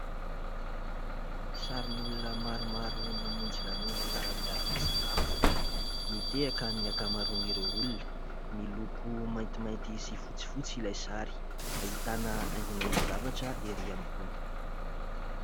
Sarin'olona maromaro namonjy lanonana miara-misakafo, mitehaka ny ankamaroan'ireo olona. Miloko maintimainty sy fotsifotsy ilay sary ; ahitana haingonaingon-javatra ery ambony.